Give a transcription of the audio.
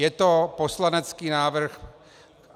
Je to poslanecký návrh.